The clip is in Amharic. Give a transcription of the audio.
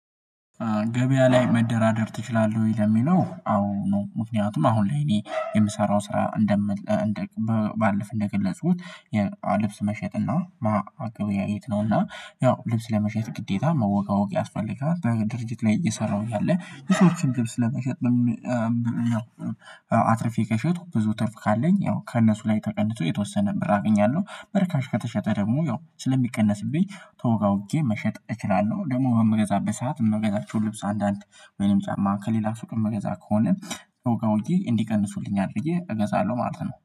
ገበያ ላይ መደራደር ትችላለህ ወይ? ለሚለው አዎ ነው። ምክንያቱም አሁን ላይ እኔ የምሰራው ስራ እንደምል ባለፍ እንደገለጽኩት ልብስ መሸጥና ማገበያየት ነውና ያው ልብስ ለመሸጥ ግዴታ መወጋወጥ ያስፈልጋል። ድርጅት ላይ እየሰራሁ እያለ የሰው እርምጃም ልብስ ለመሸጥ ያው አትርፌ ከሸጡ ብዙ ትርፍ ካለኝ ያው ከእነሱ ላይ ተቀንሶ የተወሰነ ብር አገኛለሁ በርካሽ ከተሸጠ ደግሞ ያው ስለሚቀነስብኝ ተወጋውጌ መሸጥ እችላለሁ። ደግሞ በምገዛበት ሰዓት መገዛው ልብስ አንዳንድ ወይም ጫማ ከሌላ ስጦታ መገዛ ከሆነ ተወጋውጌ ወይም እንዲቀንሱልኛል ብዬ እገዛለሁ ማለት ነው